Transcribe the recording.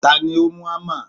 Tani ó mú ámà?